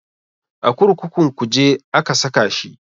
A kurkukun kuje aka saka shi